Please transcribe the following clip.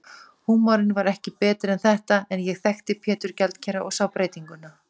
Húmorinn var ekki betri en þetta, en ég þekkti Pétur gjaldkera og sá breytinguna.